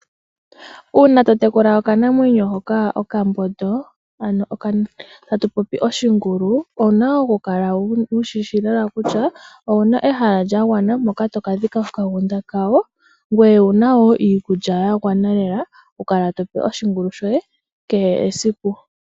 Uuna totekula okanamwenyo hoka okambondo ano tatupopi Oshingulu owuna okukala wushishi lela kutya owuna ehala lyangwana poka tokadhika oshigunda shawo ngweye owuna nga iikulya yangwana lela okukala tope Oshingulu shoye kehe esiku.